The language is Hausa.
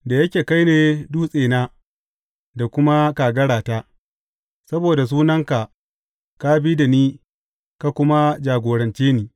Da yake kai ne dutsena da kuma kagarata, saboda sunanka ka bi da ni ka kuma jagorance ni.